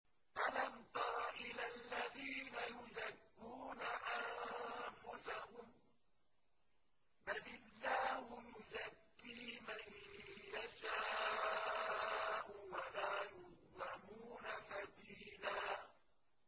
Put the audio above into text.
أَلَمْ تَرَ إِلَى الَّذِينَ يُزَكُّونَ أَنفُسَهُم ۚ بَلِ اللَّهُ يُزَكِّي مَن يَشَاءُ وَلَا يُظْلَمُونَ فَتِيلًا